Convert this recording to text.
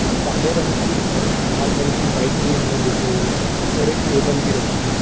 एक काले रंग की और एक लाल रंग की बाइक भी हमें दिख रही है और एक टेबल भी रखी है।